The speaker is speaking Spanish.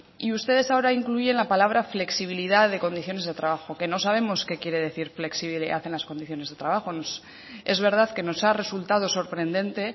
y ustedes ahora incluyen la palabra flexibilidad de condiciones de trabajo que no sabemos qué quiere decir flexibilidad en las condiciones de trabajo es verdad que nos ha resultado sorprendente